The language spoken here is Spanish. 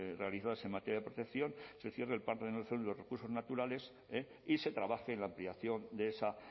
realizadas en materia de protección se los recursos naturales y se trabaje en la ampliación de esa